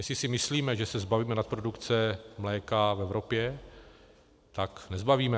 Jestli si myslíme, že se zbavíme nadprodukce mléka v Evropě, tak nezbavíme.